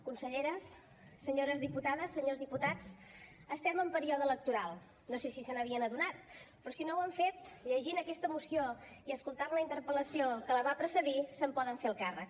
conselleres senyores diputades senyors diputats estem en període electoral no sé si se n’havien adonat però si no ho han fet llegint aquesta moció i escoltant la interpel·lació que la va precedir se’n poden fer el càrrec